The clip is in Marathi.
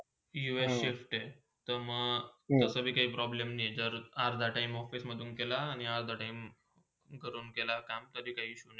us shift ते मंग तसही पण काय problem नय, जर अर्धा time ऑफिस मधुन केला आणि अर्ध Time घरून केला काम तरीही काही Issue नाय.